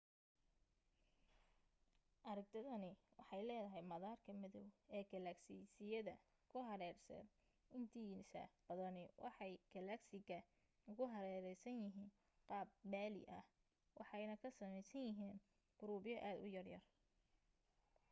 aragtidani waxay leedahay maatarka madoow ee gaalagsiyada ku hareeraysan intiisa badani waxay gaalagsiga ugu hareeraysan yihiin qaab balli ah waxayna ka samaysan yihiin qurubyo aad u yaryar